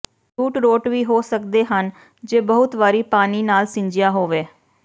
route rot ਵੀ ਹੋ ਸਕਦੇ ਹਨ ਜੇ ਬਹੁਤ ਵਾਰੀ ਪਾਣੀ ਨਾਲ ਸਿੰਜਿਆ ਹੋਵੇ